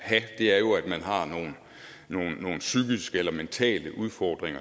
er jo at man har nogle psykiske eller mentale udfordringer